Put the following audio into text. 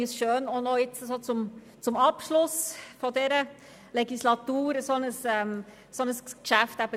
Es ist schön, zum Abschluss dieser Legislatur ein solches Geschäft zu diskutieren.